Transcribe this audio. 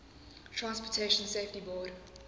transportation safety board